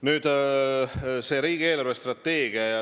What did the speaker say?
Nüüd, riigi eelarvestrateegia.